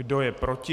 Kdo je proti?